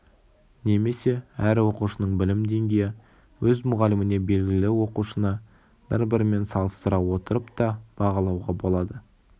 немесе әр оқушының білім денгейі өз мұғаліміне белгілі оқушыны бір-бірімен салыстыра отырып та бағалауға болады